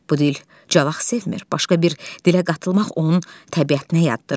Bu dil cavaq sevmir, başqa bir dilə qatılmaq onun təbiətinə yaddır.